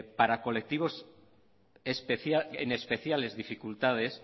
para colectivos en especiales dificultades